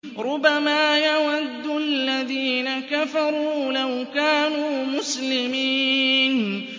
رُّبَمَا يَوَدُّ الَّذِينَ كَفَرُوا لَوْ كَانُوا مُسْلِمِينَ